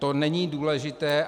To není důležité.